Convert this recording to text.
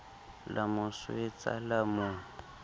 la mo swetsa la mo